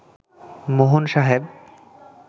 মোহন সাহেব